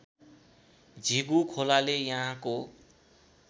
झिगु खोलाले यहाँको